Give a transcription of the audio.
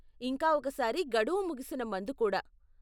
ఇంకా ఒక సారి గడువు ముగిసిన మందు కూడా.